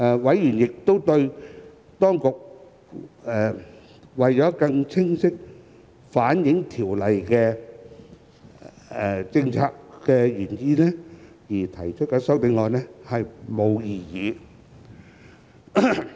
委員亦對當局為更清晰反映《條例草案》的政策原意而提出的修正案並無異議。